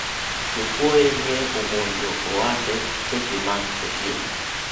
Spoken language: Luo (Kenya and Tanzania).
jokuoye nye omonjo ohande seche mag otieno